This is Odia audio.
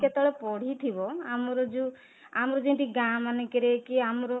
କେତେ ବେଳେ ପଡ଼ିଥିବ ଆମର ଯୋଉ ଆମର ଯେମିତି ଗାଁ ମାନଙ୍କରେ କି ଆମର